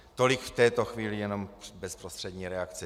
Tolik v této chvíli jenom bezprostřední reakce.